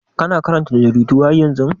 Kana karanta jaridu har yanzu?